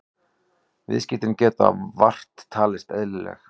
Viðskiptin geta vart talist eðlileg